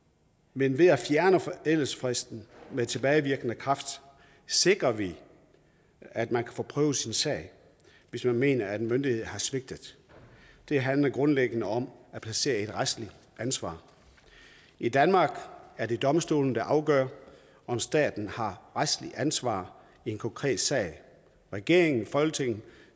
men ved at fjerne forældelsesfristen med tilbagevirkende kraft sikrer vi at man kan få prøvet sin sag hvis man mener at en myndighed har svigtet det handler grundlæggende om at placere et retsligt ansvar i danmark er det domstolene der afgør om staten har retsligt ansvar i en konkret sag regeringen og folketinget